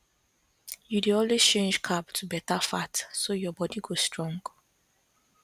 you dey always change carb to better fat so your body go strong